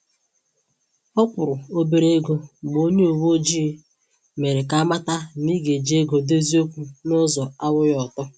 Ọ kwụrụ̀ obere égo mgbe onye uweojii mere ka amata na ị ị ga eji ego dozie okwu na ụzọ anwụghị ọtọ